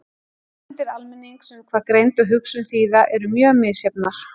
Hugmyndir almennings um hvað greind og hugsun þýða eru mjög misjafnar.